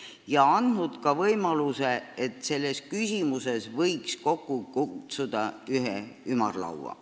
Ka on minister välja käinud võimaluse, et selles küsimuses võiks kokku kutsuda ühe ümarlaua.